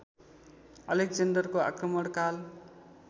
अलेक्जेन्डरको आक्रमणकाल